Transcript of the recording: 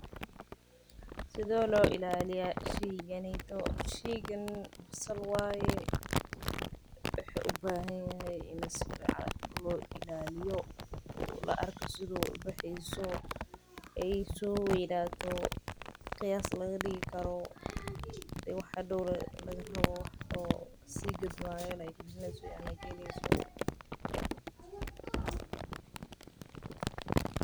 Sithe lo ilaliyani sheygan basal waye wuxuu ubahanyahay in si fican lo ilaliyo sithas waye waxaa laga rawa in hadoq ee si gadmi karto sithas waye sitha basasha lo ilaliyo bulshaada daxdedha.